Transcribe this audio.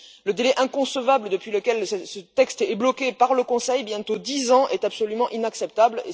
Le délai inconcevable depuis lequel ce texte est bloqué par le Conseil bientôt dix ans est absolument inacceptable.